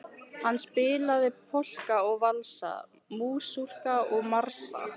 Hann spilaði polka og valsa, masúrka og marsa.